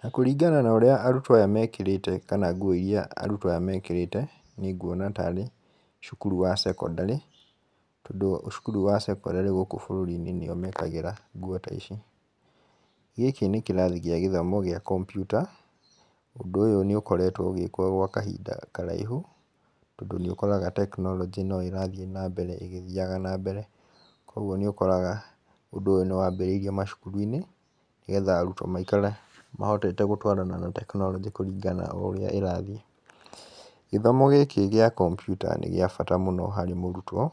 Na kũringana na ũrĩa arutwo aya mekĩrĩte kana nguo irĩa arutwo aya mekĩrĩte nĩ nguona tarĩ cukuru wa sekondarĩ. Tondũ cukuru cia sekondarĩ gũkũ bũrũri-inĩ nĩo mekagĩraga nguo ta ici. Gĩkĩ nĩ kĩrathi gĩa gĩthomo gĩa kompiuta, ũndũ ũyũ nĩ ũkoretwo ũgĩkwo gwa kahinda karaihu. Tondũ nĩ ũkoraga technology no ĩrathiĩ na mbere ĩgĩthiaga na mbere. Koguo nĩ ũkoraga ũndũ ũyũ nĩ wambĩrĩirio macukuru-inĩ nĩgetha arutwo maikare mahotete gũtwarana na tekinoronjĩ kũrĩngana na ũrĩa ĩrathiĩ. Gĩthomo gĩkĩ gĩa kompiuta nĩ gĩa bata mũno harĩ mũrutwo